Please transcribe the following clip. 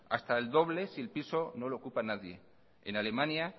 hasta el doble si el piso no lo ocupa nadie en alemania